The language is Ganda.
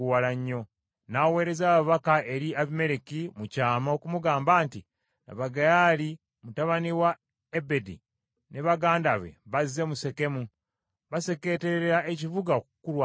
N’aweereza ababaka eri Abimereki mu kyama okumugamba nti, “Laba Gaali mutabani wa Ebedi, ne baganda be bazze mu Sekemu. Basekeeterera ekibuga okukulwanyisa.